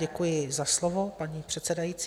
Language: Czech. Děkuji za slovo, paní předsedající.